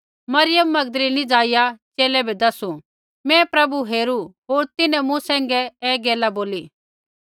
मरियम मगदलीनीऐ जाईया च़ेले बै दसु मैं प्रभु हेरू होर तिन्हैं मूँ सैंघै ऐ गैला बोली